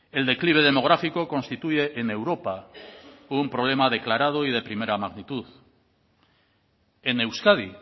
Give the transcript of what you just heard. el declive demográfico constituye en europa un problema declarado y de primera magnitud en euskadi